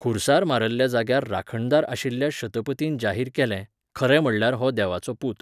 खुर्सार मारल्ल्या जाग्यार राखणदार आशिल्ल्या शतपतीन जाहीर केलें, खरें म्हणल्यार हो देवाचो पूत!